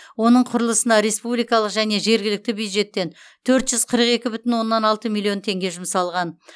оның құрылысына республикалық және жергілікті бюджеттен төрт жүз қырық екі бүтін оннан алты миллион теңге жұмсалған